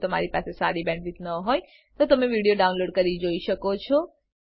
જો તમારી પાસે સારી બેન્ડવિડ્થ ન હોય તો તમે વિડીયો ડાઉનલોડ કરીને જોઈ શકો છો